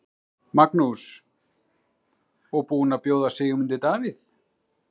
Magnús: Og búin að bjóða Sigmundi Davíð?